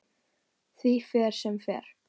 Því fer sem fer.